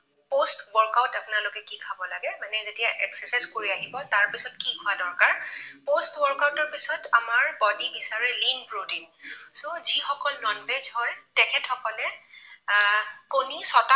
Post workout আপোনালোকে কি খাব লাগে, মানে যেতিয়া exercise কৰি আহিব তাৰ পিছত কি খোৱা দৰকাৰ, post workout ৰ পিছত আমাৰ body য়ে বিচাৰে lean protein, so যিসকল non veg হয় তেখেতসকলে আহ কণী ছটা